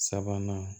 Sabanan